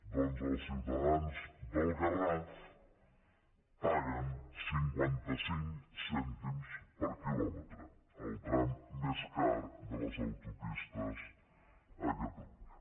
doncs els ciutadans del garraf paguen cinquanta cinc cèntims per quilòmetre al tram més car de les autopistes a catalunya